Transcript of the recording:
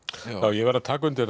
ég verð að taka undir